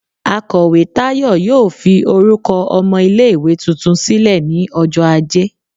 Akọwe Tayo yóò fí orukọ ọmọ ile-iwe túntún silẹ ni ọjọ ajé